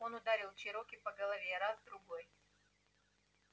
он ударил чероки по голове раз другой